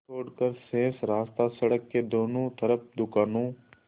छोड़कर शेष रास्ता सड़क के दोनों तरफ़ दुकानों